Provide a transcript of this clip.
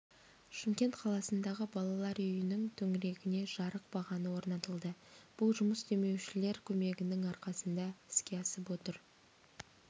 шымкент қаласындағы балалар үйінің төңірегіне жарық бағаны орнатылды бұл жұмыс демеушілер көмегінің арқасында іске асып отыр